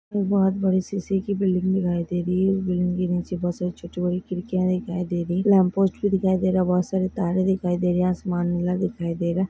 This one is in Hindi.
बहुत बड़ी शीशेकी बिल्डिंग दिखाई दे रही है वो बिल्डिंग के नीचे बहुत सारी छोटी बडी खिडकीया दिखाई दे रही है लमपोस्ट भी दिखाई दे रहा बहुत सारे तारे दिखाई दे रही है आसमान नीला दिखाई दे रहा।